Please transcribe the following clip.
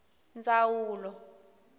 ndzawulo